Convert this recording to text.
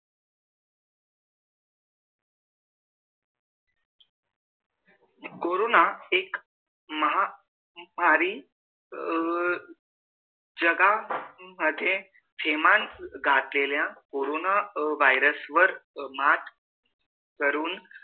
corona एक महामारी अह जगा मध्ये थैमान घातलेल्या कोरोना virus वर मात करून